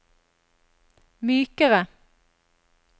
mykere